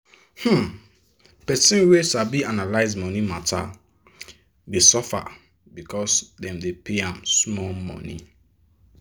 person wey sabi analyze money matter dey suffer because dem dey pay ahm small money.